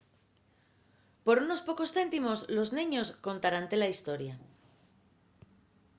por unos pocos céntimos los neños contaránte la hestoria